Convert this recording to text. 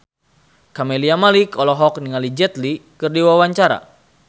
Camelia Malik olohok ningali Jet Li keur diwawancara